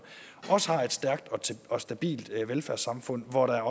også har et stærkt og stabilt velfærdssamfund hvor der